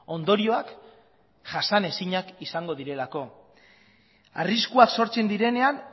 ondorioak jasanezinak izango direlako arriskuak sortzen direnean